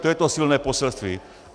To je to silné poselství.